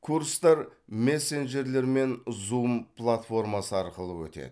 курстар мессенджерлер мен зум платформасы арқылы өтеді